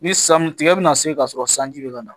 Ni san tigɛ bɛna se ka sɔrɔ sanji bɛ ka na